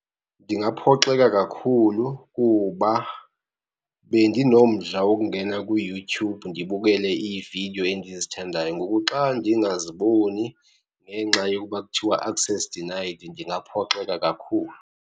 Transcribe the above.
Ndingaphoxeka kakhulu kuba bendinomdla wokungena kuYouTube ndibukele iividiyo endizithandayo. Ngoku xa ndingaziboni ngenxa yokuba kuthiwa, access denied, ndingaphoxeka kakhulu.